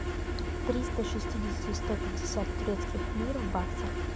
триста шестидесяти сто пятьдесят турецких лир в баксах